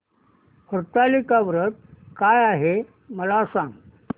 हरतालिका व्रत काय आहे मला सांग